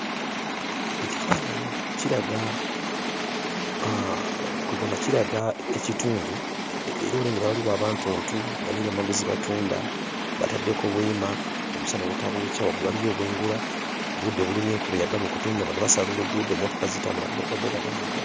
Ekifaananyi kiraga aaa kweggamba kiraga ekitundu e e era olengera waliwo abantuntu balina ebyamaguzi bye batunda bataddeko weema omusana obutabookya waggulu waliyo obwengula budde bulinga enkuba eyagala okutonnya bano basala oluguudo emmotoka zitambula boodabooda bavuga.